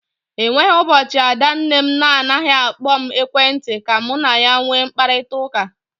E nweghi ụbọchị ada nne m na anaghị akpọ m n'ekwenti ka mụ na ya nwee mkparịkọtaụka.